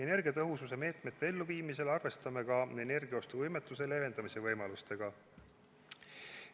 Energiatõhususe meetmete elluviimisel arvestame ka energiaostuvõimetuse leevendamise võimalustega.